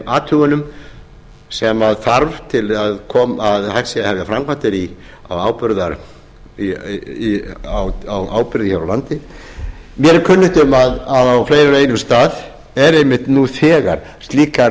athugunum sem þarf til að hægt sé að hefja framkvæmdir á áburði hér á landi mér er kunnugt um að á fleiri en einum stað eru einmitt nú þegar slíkar